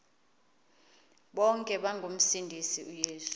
bonke ngomsindisi uyesu